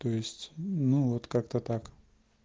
то есть ну вот как-то так